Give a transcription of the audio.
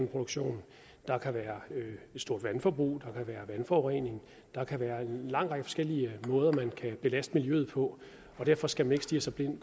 produktion der kan være et stort vandforbrug der kan være vandforurening der kan være en lang række forskellige måder man kan belaste miljøet på derfor skal man ikke stirre sig blind